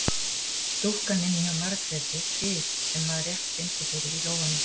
Dúkkan inni hjá Margréti fis sem maður rétt fyndi fyrir í lófanum.